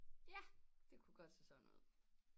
Ja det kunne godt se sådan ud